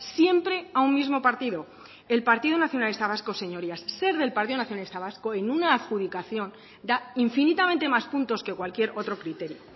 siempre a un mismo partido el partido nacionalista vasco señorías ser del partido nacionalista vasco en una adjudicación da infinitamente más puntos que cualquier otro criterio